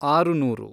ಆರುನೂರು